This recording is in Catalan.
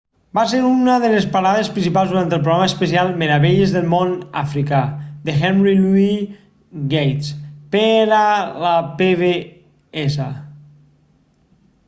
va ser una de les parades principals durant el programa especial meravelles del món africà de henry louis gates per a la pbs